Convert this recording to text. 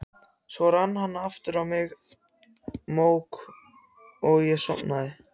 Svo rann aftur á mig mók og ég sofnaði.